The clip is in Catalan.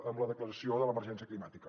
amb la declaració de l’emergència climàtica